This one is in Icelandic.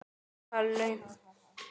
En hann segir ekki neitt.